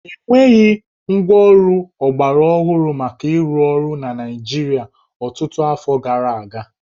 E nweghị ngwaọrụ ọgbarọhụrụ maka ịrụ ọrụ na Naịjịrịa ọtụtụ afọ gara aga